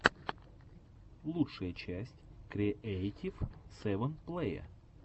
лучшая часть креэйтив сэвэн плэя